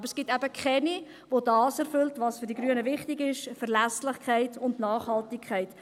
Aber es gibt keine, die das erfüllt, was für die Grünen wichtig ist: Verlässlichkeit und Nachhaltigkeit.